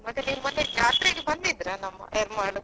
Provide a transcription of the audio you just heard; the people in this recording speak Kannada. ಮತ್ತೆ ನೀವು ಮೊನ್ನೆ ಜಾತ್ರೆಗೆ ಬಂದಿದ್ರಾ ನಮ್ಮ Yermal.